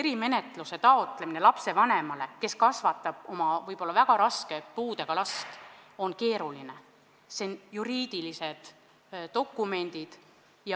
Erimenetluse taotlemine on lapsevanemale, kes kasvatab võib-olla väga raske puudega last, keeruline, sest seal on vaja juriidilisi dokumente.